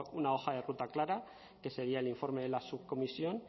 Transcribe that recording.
una hoja de ruta clara que sería el informe de la subcomisión